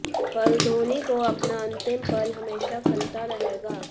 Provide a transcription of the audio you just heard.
पर धोनी को अपना अंतिम पल हमेशा खलता रहेगा